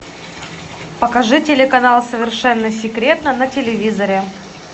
покажи телеканал совершенно секретно на телевизоре